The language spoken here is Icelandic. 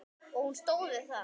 Og hún stóð við það.